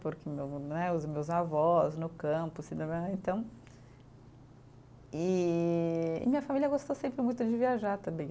Porque meu né, os meus avós no campo, então e, e minha família gostou sempre muito de viajar também.